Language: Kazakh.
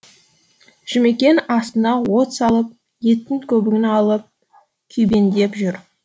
жұмекен астына от салып еттің көбігін алып күйбеңдеп жүр